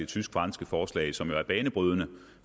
tysk franske forslag som jo er banebrydende